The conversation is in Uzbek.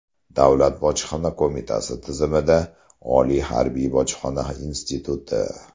Davlat bojxona qo‘mitasi tizimida: Oliy harbiy bojxona instituti.